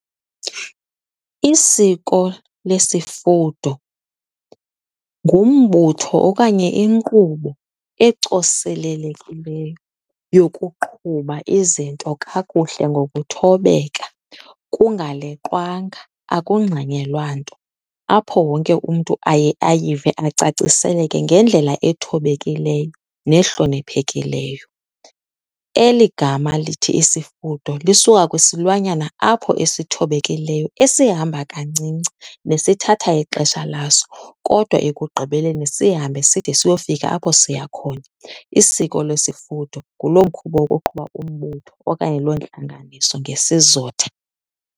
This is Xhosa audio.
Isiko lesifudo ngumbutho okanye inkqubo ecoselelekileyo yokuqhuba izinto kakuhle ngokuthobeka kungaleqwanga, akungxanyelwa nto, apho wonke umntu aye ayive acaciseleke ngendlela ethobekileyo nehloniphekileyo. Eli gama lithi isifudo lisuka kwesilwanyana apho esithobekileyo esihamba kancinci nesithatha ixesha laso kodwa ekugqibeleni sihambe side siyofika apho siya khona. Isiko lesifudo nguloo mkhuba wokuqhuba umbutho okanye loo ntlanganiso ngesizotha.